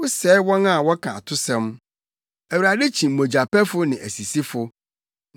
Wosɛe wɔn a wɔka atosɛm; Awurade kyi mogyapɛfo ne asisifo.